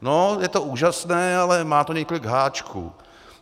No, je to úžasné, ale má to několik háčků.